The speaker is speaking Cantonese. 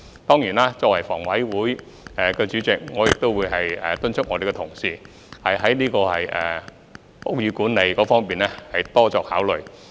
當然，作為房委會主席，我亦會敦促同事在屋宇管理方面作出相關考慮。